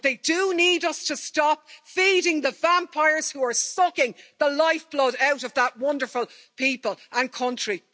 But they do need us to stop feeding the vampires who are sucking the life blood out of the wonderful people and country.